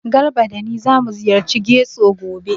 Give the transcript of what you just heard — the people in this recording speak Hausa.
Garba da ni zamu ziyarci Getso gobe.